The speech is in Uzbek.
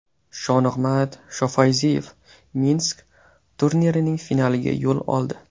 Shonig‘mat Shofayziyev Minsk turnirining finaliga yo‘l oldi.